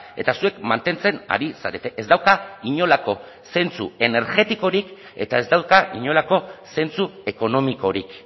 eta zuek mantentzen ari zarete ez dauka inolako zentsu energetikorik eta ez dauka inolako zentzu ekonomikorik